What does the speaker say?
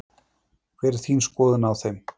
Hver er þín skoðun á þeim?